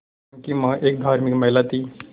उनकी मां एक धार्मिक महिला थीं